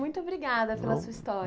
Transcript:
Muito obrigada pela sua história.